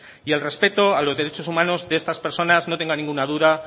y el respeto a los derechos humanos de estas personas